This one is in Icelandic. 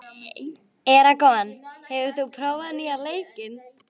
Eragon, hefur þú prófað nýja leikinn?